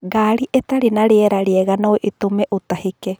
Ngari itarĩ na rĩera rĩega no itũme ũtahĩke